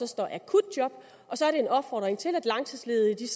står akutjob og så er det en opfordring til at langtidsledige